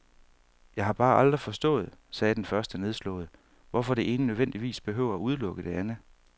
Jeg har bare aldrig forstået, sagde den første nedslået, hvorfor det ene nødvendigvis behøver at udelukke det andet.